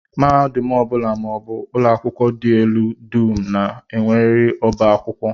Mahadum ọ bụla maọbụ ụlọakwụkwọ dị elu dum na-enwerịrị ọbá akwụkwọ